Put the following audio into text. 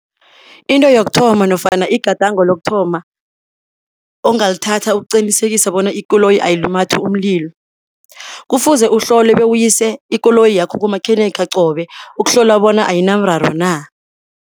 Into yokuthoma nofana igadango lokuthoma ongalithatha ukuqinisekisa bona ikoloyi ayilumathi umlilo, kufuze uhlole bewuyise ikoloyi yakho kumakhenikha qobe ukuhlolwa bona ayinamraro na.